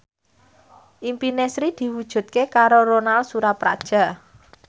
impine Sri diwujudke karo Ronal Surapradja